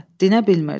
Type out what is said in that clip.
Dinə bilmirdi.